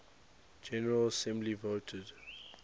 general assembly voted